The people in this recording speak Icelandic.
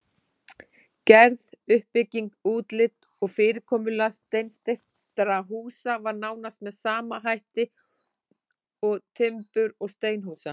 Gerð, uppbygging, útlit og fyrirkomulag steinsteypuhúsa var nánast með sama hætt og timbur- og steinhúsa.